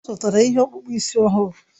Ọ zụtara ihe ọkpụkpụ isi ọhụrụ